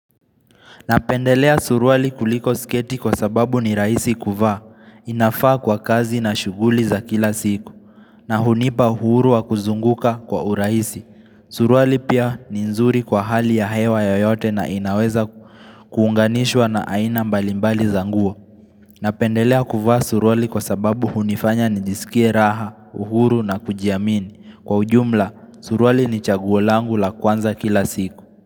Napendelea suruali kuliko siketi kwa sababu ni rahisi kuvaa, inafaa kwa kazi na shughuli za kila siku, na hunipa uhuru wa kuzunguka kwa uraisi. Suruali pia ni nzuri kwa hali ya hewa yoyote na inaweza kuunganishwa na aina mbalimbali za nguo. Napendelea kuvaa suruali kwa sababu hunifanya nijisikie raha, uhuru na kujiamini. Kwa ujumla, suruali ni chaguo langu la kwanza kila siku.